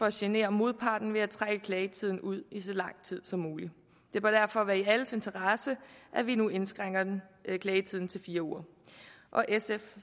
at genere modparten ved at trække klagetiden ud i så lang tid som muligt det bør derfor være i alles interesse at vi nu indskrænker klagetiden til fire uger sf